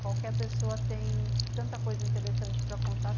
Qualquer pessoa tem tanta coisa interessante para contar.